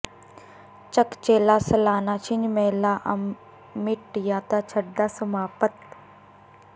ਚੱਕ ਚੇਲਾ ਸਾਲਾਨਾ ਿਛੰਝ ਮੇਲਾ ਅਮਿੱਟ ਯਾਦਾਂ ਛੱਡਦਾ ਸਮਾਪਤ